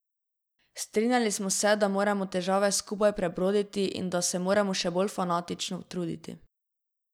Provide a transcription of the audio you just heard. Strinjali smo se, da moramo težave skupaj prebroditi in da se moramo še bolj fanatično truditi.